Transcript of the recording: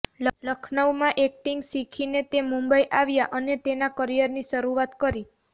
લખનઉમાં acting શીખીને તે મુંબઈ આવ્યાં અને તેના કરિયરની શરૂઆત કરી